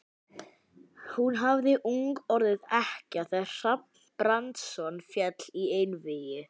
Hún hafði ung orðið ekkja þegar Hrafn Brandsson féll í einvígi.